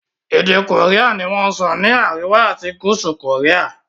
èdè Korean ní wón sọ ni àríwá ati gúúsù Korea.